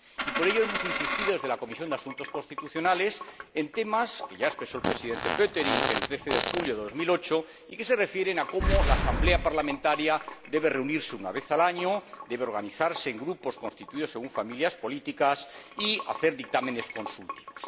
Y por ello hemos insistido desde la Comisión de Asuntos Constitucionales en temas que ya expresó el Presidente Pöttering el 13 de julio de 2008 y que se refieren a cómo la Asamblea Parlamentaria debe reunirse una vez al año, debe organizarse en grupos constituidos según familias políticas y hacer dictámenes consultivos.